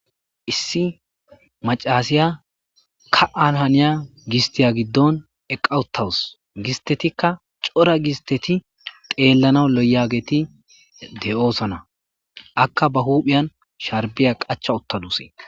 issi macasiya ka7an haniya gistiya giddon eqqa uttawus gistetikka cora gisteti teellana loyageti de7oosana akka ba huuphiyan sharbiya qacha uttadusi